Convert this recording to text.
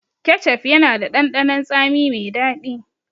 Kecef yana da ɗanɗanon tsami mai daɗi.